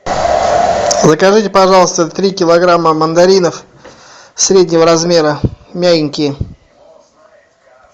закажите пожалуйста три килограмма мандаринов среднего размера мягенькие